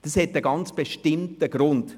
Das hat einen ganz bestimmten Grund: